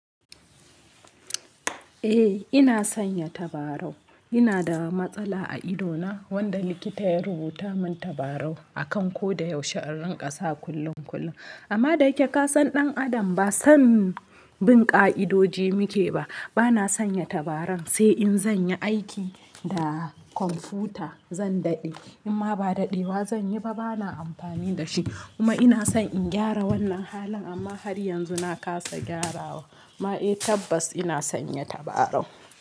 Eh ina sanya tabarau, ina da matsala a ido na wanda likita ya rubuta min tabarau akan ko da yaushe a rinƙasa kullum kullum. Amma da kike ka san ɗan adam ba san bin ƙa'idoji muke ba, bana sanya tabaran sai in zan yi aiki da kwamfuta zan daɗe, in ma ba daɗewa zan yi ba bana amfani da shi. Kuma ina son in gyara wannan halin amma har yanzu na kasa gyarawa. Ma eh tabbas ina sanya tabarau.